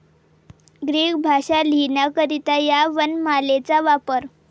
Greek भाषा लिहिण्याकरिता ह्या वनमालेचा वापर इ.